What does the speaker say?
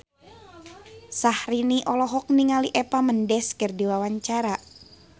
Syahrini olohok ningali Eva Mendes keur diwawancara